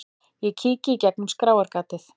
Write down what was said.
Ég kíki í gegnum skráargatið.